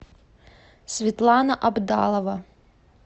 светлана абдалова